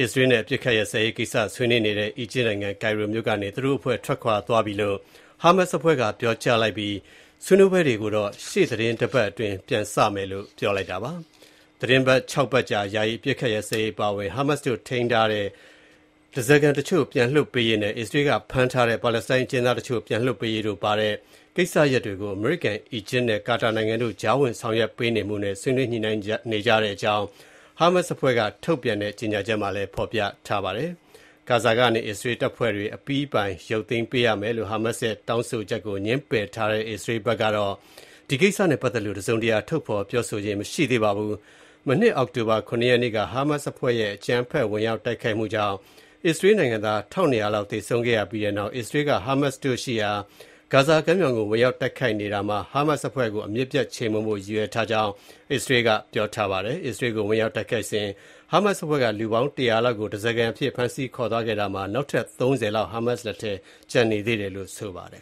အစ္စရေးနဲ့ အပစ်အခတ်ရပ်စဲရေးကိစ္စ ဆွေးနွေးနေတဲ့ အီဂျစ်နိုင်ငံ၊ ကိုင်ရိုမြို့ကနေ သူတို့အဖွဲ့ ထွက်ခွာသွားပြီဖြစ်ကြောင်း ဟာမတ်စ်အဖွဲ့က ပြောကြားလိုက်ပြီး ဆွေးနွေးပွဲတွေကို ရှေ့သီတင်းပတ်အတွင်း ပြန်စမယ်လို့ ဆိုပါတယ်။ သီတင်းပတ် ၆ ပတ်ကြာ ယာယီ အပစ်အခတ်ရပ်စဲရေးအပါအဝင် ဟာမတ်စ်တို့ ထိန်းသိမ်းထားတဲ့ ဓားစာခံတချို့ ပြန်လွတ်ပေးရေးနဲ့ အစ္စရေးက ဖမ်းဆီးထားတဲ့ ပါလက်စတိုင်း အကျဉ်းသားတချို့ ပြန်လွှတ်ပေးရေးတို့ ပါဝင်တဲ့ ကိစ္စရပ်တွေကို အမေရိကန်၊ အီဂျစ်နဲ့ ကာတာနိုင်ငံတို့ရဲ့ ကြားဝင် ဆောင်ရွက်ပေးမှုနဲ့ ဆွေးနွေး ညှိနှိုင်းနေကြတဲ့အကြောင်း ဟာမတ်စ်အဖွဲ့က ထုတ်ပြန်တဲ့ ကြေညာချက်မှာ ဖော်ပြထားပါတယ်။ ဂါဇာကနေ အစ္စရေးတပ်ဖွဲ့တွေ အပြီးအပိုင် ရုပ်သိမ်းပေးရမယ်လို့ ဟာမတ်စ်ရဲ့ တောင်းဆိုချက်ကို ငြင်းပယ်ထားတဲ့ အစ္စရေးဘက်ကတော့ ဒီကိစ္စနဲ့ပတ်သက်လို့ တစုံတရာ ထုတ်ဖော် ပြောဆိုခြင်း မရှိသေးပါဘူး။ မနှစ် အောက်တိုဘာ ၇ ရက်နေ့က ဟာမတ်စ်အဖွဲ့ရဲ့ အကြမ်းဖက် ဝင်ရောက် တိုက်ခိုက်မှုကြောင့် အစ္စရေးနိုင်ငံသား ၁,၂၀၀ လောက် သေဆုံးခဲ့ရပြီးတဲ့နောက် အစ္စရေးက ဟာမတ်စ်တို့ရှိရာ ဂါဇာ ကမ်းမြောင်ကို ဝင်ရောက် တိုက်ခိုက်နေတာမှာ ဟာမတ်စ်အဖွဲ့ကို အမြစ်ပြုတ် ချေမှုန်းဖို့ရည်ရွယ်ထားကြောင်း အစ္စရေးက ပြောထားပါတယ်။ အစ္စရေးကို ဝင်ရောက် တိုက်ခိုက်စဉ် ဟာမတ်စ်အဖွဲ့က လူပေါင်း ၁၀၀ လောက်ကို ဓားစာခံအဖြစ် ဖမ်းဆီးသွားခဲ့တာမှာ နောက်ထပ် ၃၀ လောက် ဟာမတ်စ်လက်ထဲမှာ ကျန်နေသေးတယ်လို့ ဆိုပါတယ်